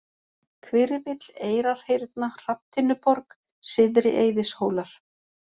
Hvirfill, Eyrarhyrna, Hrafntinnuborg, Syðri-Eiðishólar